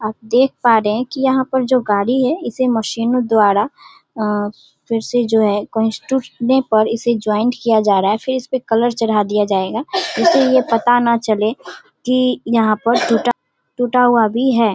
आप देख पा रहे हैं की यहाँ पर जो गाड़ी है इसे मशीनो द्वारा अ फिर से जो है कहीं टूटने पर इसे जॉइंट किया जा रहा है फिर इसपे कलर चढ़ा दिया जाएगा इसीलिए पता न चले की यहाँ पर टूटा-टूटा हुआ भी है।